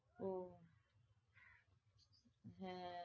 ও হ্যাঁ